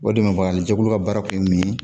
O de bɛ farannijɛkulu ka baara kun min ye